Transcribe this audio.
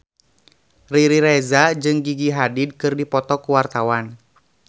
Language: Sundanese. Riri Reza jeung Gigi Hadid keur dipoto ku wartawan